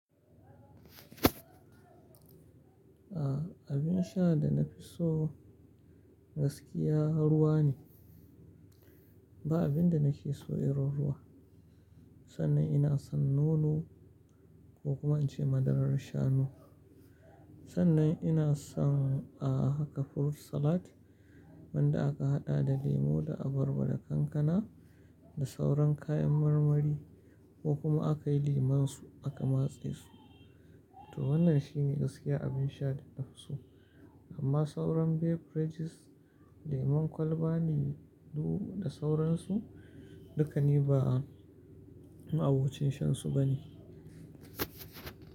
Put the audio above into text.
A abin sha da na fi so gaskiya ruwa ne. Ba abin da nake so irin ruwa. Sannan ina son nono ko kuma in ce madarar shanu. Sannan ina son a haka fruit salad wanda aka haɗa da lemu da abarba da kankana da sauran kayan marmari ko kuma aka yi lemunsu aka matse su. To wannan shine gaskiya abin sha da na fi so. Amma sauran beverages lemun kwalba, lilu da sauransu, dukkani ba a'u ce shan su ba ne.